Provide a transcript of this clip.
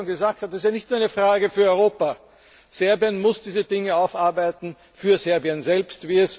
Wie Frau Koppa schon gesagt hat Es ist nicht nur eine Frage für Europa. Serbien muss diese Dinge aufarbeiten für Serbien selbst.